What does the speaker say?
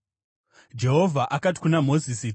Jehovha akati kuna Mozisi,